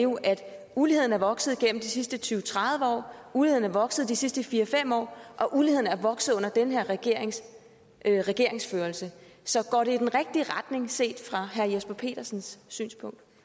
uligheden er vokset gennem de sidste tyve til tredive år at uligheden er vokset de sidste fire fem år og at uligheden er vokset under den her regerings regeringsførelse så går det i den rigtige retning set fra herre jesper petersens synspunkt